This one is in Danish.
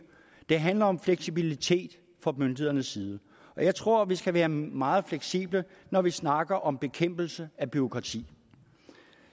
det handler om fleksibilitet fra myndighedernes side og jeg tror at vi skal være meget fleksible når vi snakker om bekæmpelse af bureaukrati